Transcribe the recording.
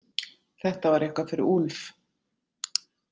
Þetta var eitthvað fyrir Úlf.